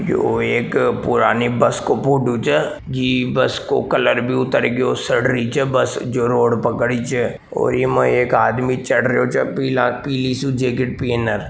यो एक पुरानी बस को फोटो छे जी बस को कलर बि उतर रियो चे सड़ री चे बस जो रोड पे खड़ी चे और इमा एक आदमी चढ़ रियो चे पीली सी जैकेट पहन र।